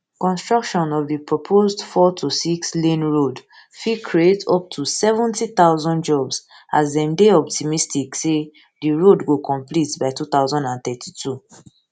construction of di proposed fourtosix lane road fit create up to seventy thousand jobs as dem dey optimistic say di road go complete by two thousand and thirty-two